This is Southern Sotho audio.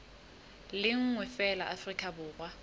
le nngwe feela afrika borwa